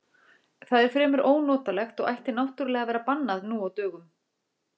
Það er fremur ónotalegt og ætti náttúrlega að vera bannað nú á dögum.